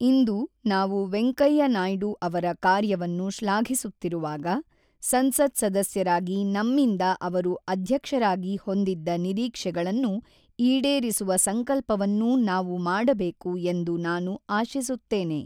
ಇಂದು ನಾವು ವೆಂಕಯ್ಯ ನಾಯ್ಡು ಅವರ ಕಾರ್ಯವನ್ನು ಶ್ಲಾಘಿಸುತ್ತಿರುವಾಗ, ಸಂಸತ್ ಸದಸ್ಯರಾಗಿ ನಮ್ಮಿಂದ ಅವರು ಅಧ್ಯಕ್ಷರಾಗಿ ಹೊಂದಿದ್ದ ನಿರೀಕ್ಷೆಗಳನ್ನು ಈಡೇರಿಸುವ ಸಂಕಲ್ಪವನ್ನೂ ನಾವು ಮಾಡಬೇಕು ಎಂದು ನಾನು ಆಶಿಸುತ್ತೇನೆ.